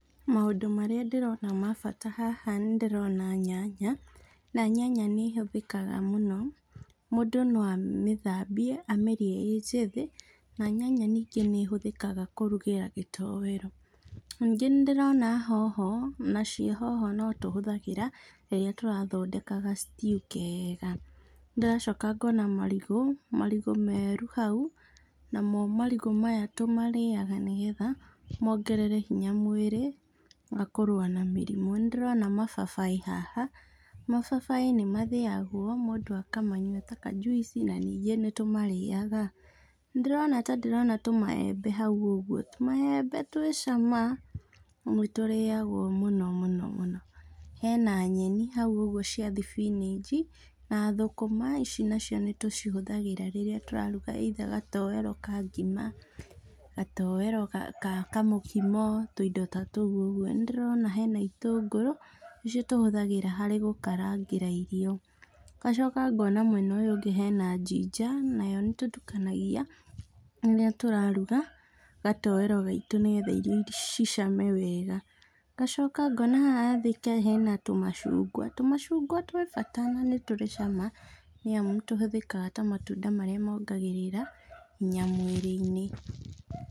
Maũndũ marĩa ndĩrona ma bata haha nĩ ndĩrona nyanya, na nyanya nĩ ĩhũthĩkaga mũno, mũndũ no amĩthambie, amĩrĩe ĩ njĩthĩ, na nyanya ningĩ nĩhũthĩkaga kũrugĩra gĩtowero. Ningĩ nĩndĩrona hoho, nacio hoho no tũhũthagĩra, rĩrĩa tũrathodeka ga stew kega. Ndĩracoka ngona marigũ, marigũ meru hau, namo marigũ maya tũmarĩaga nĩgetha, mongerere hinya mwĩrĩ, makũrũa na mĩrĩmũ. Nĩndĩrona mababaĩ haha, mababaĩ nĩmathĩagwo, mũndũ akamanyua ta kanjuici, na ningĩ nĩtũmarĩaga. Nindĩrona ta ndĩrona tũmaembe hau ũguo. Tũmaembe twĩ cama, na nĩtũrĩagwo mũno mũno mũno, hena nyeni hau ũguo cia thibinaci, na thũkũma ici nacio nĩtũcihũthagĩra rĩrĩa tũratuga either gatowero ka ngima, gatowero ka ka kamũkimo, tuindo ta tuũ ũguo. Nĩndĩrona hena itũngũrũ, irĩa tũhũthagĩra harĩ gũkarangĩra irio. Ngacoka ngona mwena ũyũ ũngĩ hena ginger, nayo nĩtũtukanagia rĩrĩa tũraruga gatowero gaitũ nĩgetha irio cicame wega. Ngacoka ngona haha thĩ hena tũmacungwa, tũmacungwa tũthaka, na nĩtũri cama, nĩamu tũhũthĩkaga ta matunda marĩa mongagĩrĩra hinya mwĩrĩinĩ.